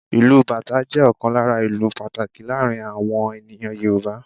Ìlù Bàtá jẹ́ ọ̀kan lára ​​ìlù pàtàkì láàárín awọn ènìyàn Yorùbá.